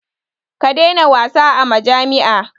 Ka daina wasa a majami'a.